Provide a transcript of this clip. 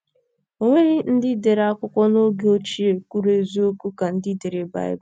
O nweghị ndị dere akwụkwọ n’oge ochie kwuru eziokwu ka ndị dere Baịbụl.